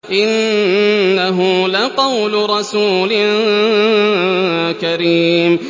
إِنَّهُ لَقَوْلُ رَسُولٍ كَرِيمٍ